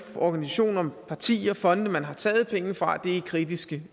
organisationer partier fonde man har taget pengene fra er kritiske